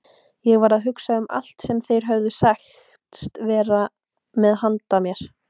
Ég var að hugsa um allt sem þeir höfðu sagst vera með handa mér.